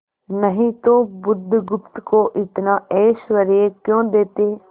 नहीं तो बुधगुप्त को इतना ऐश्वर्य क्यों देते